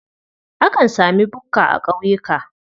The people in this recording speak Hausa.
Akan sami bukka a ƙauyuka.